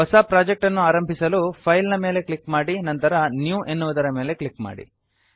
ಹೊಸ ಪ್ರಾಜೆಕ್ಟ್ ಅನ್ನು ಆರಂಭಿಸಲು ಫೈಲ್ ಫೈಲ್ ನ ಮೇಲೆ ಕ್ಲಿಕ್ ಮಾಡಿ ನಂತರ ನ್ಯೂ ನ್ಯೂ ಎನ್ನುವುದರ ಮೇಲೆ ಕ್ಲಿಕ್ ಮಾಡಿ